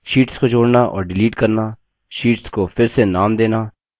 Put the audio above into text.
sheets को जोड़ना और डिलीट करना शीट्स को फिर से नाम देना